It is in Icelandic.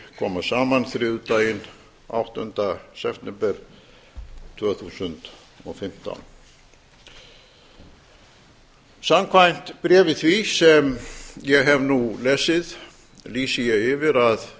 koma saman þriðjudaginn áttunda september tvö þúsund og fimmtán samkvæmt bréfi því sem ég hef nú lesið lýsi ég yfir að